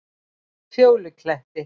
Fjólukletti